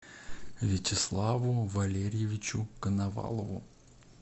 вячеславу валерьевичу коновалову